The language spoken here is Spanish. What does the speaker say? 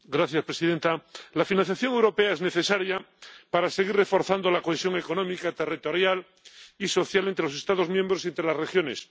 Señora presidenta, la financiación europea es necesaria para seguir reforzando la cohesión económica, territorial y social entre los Estados miembros y entre las regiones.